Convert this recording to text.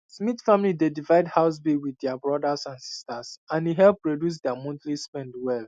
smith family dey divide house bills with their brothers and sisters and e help reduce their monthly spend well